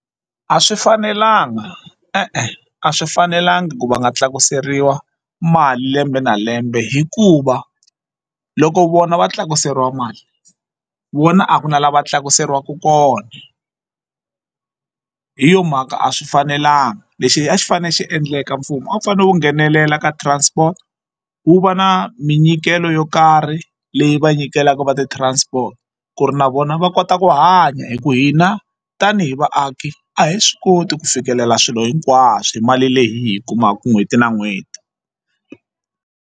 A swi fanelanga e-e a swi fanelanga ku va nga tlakuseriwa mali lembe na lembe hikuva loko vona va tlakuseriwa mali vona a ku na la va tlakuseriwaka kona hi yo mhaka a swi fanelanga lexi a xi fanele xi endleka mfumo a wu fanele wu nghenelela ka transport wu va na minyikelo yo karhi leyi va nyikelaka va ti-transport ku ri na vona va kota ku hanya hi ku hina tanihi vaaki a hi swi koti ku fikelela swilo hinkwaswo hi mali leyi hi kumaka n'hweti na n'hweti.